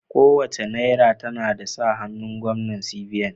Kowace Naira tana da sa hannun Gwamnan CBN.